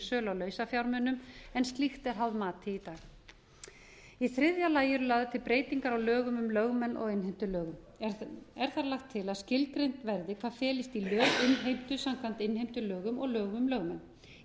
sölu á lausafjármunum en slíkt er háð mati í dag í þriðja lagi eru lagðar til breytingar á lögum um lögmenn og innheimtulögum er þar lagt til að skilgreint verði hvað felist í löginnheimtu samkvæmt innheimtulögum og lögum um lögmenn í